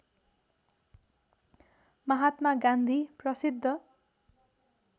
महात्मा गान्धी प्रसिद्ध